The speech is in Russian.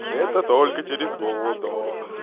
это только через год да